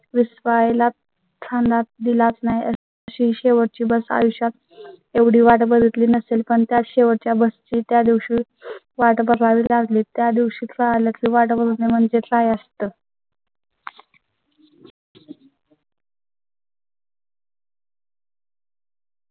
वीस पाहायला छान दार दिलात नाही शेवटी bus आयुष्यात एवढी वाट बघितली नसेल पण त्या शेवटच्या बस ची त्या दिवशी वाट पाहावी लागली. त्या दिवशी काला ची वाट बघ ते म्हणजे काय असतं